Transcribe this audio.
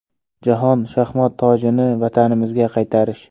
Jahon shaxmat tojini vatanimizga qaytarish.